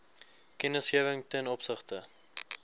kennisgewing ten opsigte